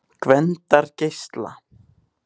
Gvendargeisla